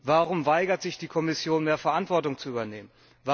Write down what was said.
Warum weigert sich die Kommission, mehr Verantwortung zu übernehmen?